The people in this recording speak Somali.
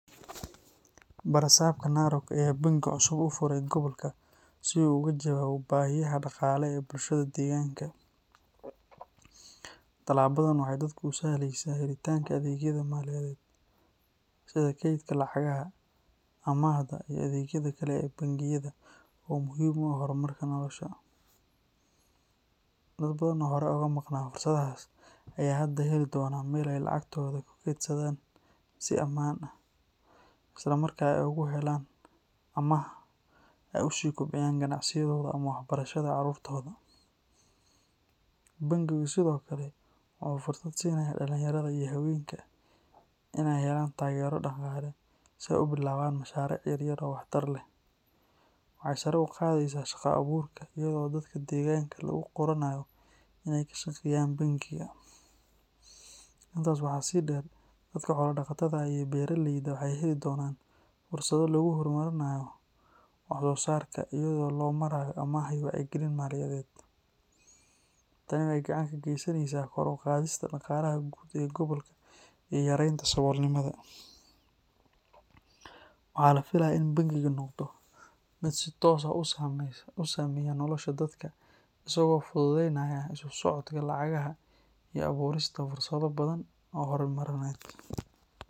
Barasabka Narok ayaa bangi cusub u furay gobolka si uu uga jawaabo baahiyaha dhaqaale ee bulshada deegaanka. Talaabadan waxay dadka u sahleysaa helitaanka adeegyada maaliyadeed sida kaydka lacagaha, amaahda, iyo adeegyada kale ee bangiyada oo muhiim u ah horumarka nolosha. Dad badan oo horay uga maqnaa fursadahaas ayaa hadda heli doona meel ay lacagtooda ku kaydsadaan si ammaan ah, isla markaana ay ugu helaan amaah si ay u kobciyaan ganacsigooda ama waxbarashada caruurtooda. Bangigu sidoo kale wuxuu fursad siinayaa dhallinyarada iyo haweenka in ay helaan taageero dhaqaale si ay u bilaabaan mashaariic yar yar oo wax tar leh. Waxay sare u qaadaysaa shaqo abuurka iyada oo dadka deegaanka laga qoranayo in ay ka shaqeeyaan bangiga. Intaas waxaa sii dheer, dadka xoolo dhaqatada ah iyo beeraleyda waxay heli doonaan fursado lagu horumarinayo wax soo saarkooda iyada oo loo marayo amaah iyo wacyigelin maaliyadeed. Tani waxay gacan ka geysaneysaa kor u qaadista dhaqaalaha guud ee gobolka iyo yareynta saboolnimada. Waxaa la filayaa in bangigu noqdo mid si toos ah u saameeya nolosha dadka, isagoo fududeynaya isu socodka lacagaha iyo abuurista fursado badan oo horumarineed.